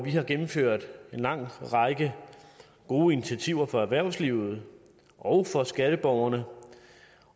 har gennemført en lang række gode initiativer for erhvervslivet og for skatteborgerne